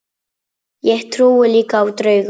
Ég trúi líka á drauga.